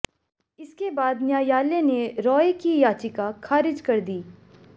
इसके बाद न्यायालय ने रॉय की याचिका खारिज कर दी